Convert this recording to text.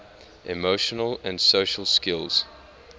emotion and social skills